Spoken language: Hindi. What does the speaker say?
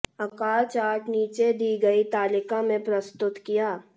आकार चार्ट नीचे दी गई तालिका में प्रस्तुत किया